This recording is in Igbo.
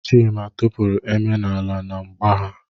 Chima tụpụrụ Eme n'ala na mgba ha.